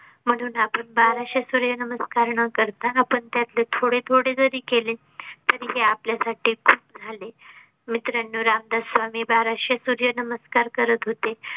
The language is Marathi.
म्हणून आपण बाराशे सूर्य नमस्कार न करता आपण त्यातले थोडे थोडे जरी केले तरी ते आपल्या साठी खूप झाले. मित्रांनो, रामदास स्वामी बाराशे सुर्य नमस्कार करत होते.